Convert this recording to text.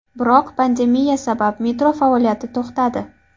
Biroq pandemiya sabab metro faoliyati to‘xtadi.